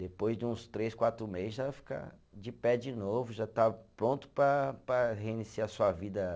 Depois de uns três, quatro meses, ela fica de pé de novo, já está pronto para para reiniciar sua vida.